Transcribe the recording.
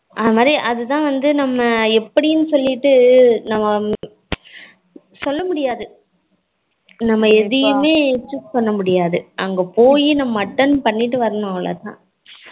அந்த மாதிரி அது தான் வந்து நம்ம எப்படினு சொல்லிட்டு நம்ம சொல்ல முடியாது நம்ம எதுவும் choose பண்ண முடியாது அங்க போய் நம்ம attend பண்ணிட்டு வரலாம் அவளோதான்